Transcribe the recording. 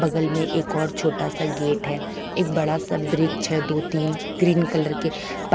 बगल में एक और छोटा सा गेट है एक बड़ा सा ब्रिच है दो-तीन ग्रीन कलर के पा--